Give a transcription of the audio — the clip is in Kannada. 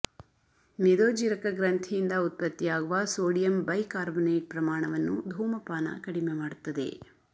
ಮೇದೋಜ್ಜೀರಕ ಗ್ರಂಥಿಯಿಂದ ಉತ್ಪತ್ತಿಯಾಗುವ ಸೋಡಿಯಂ ಬೈಕಾರ್ಬನೇಟ್ ಪ್ರಮಾಣವನ್ನು ಧೂಮಪಾನ ಕಡಿಮೆ ಮಾಡುತ್ತದೆ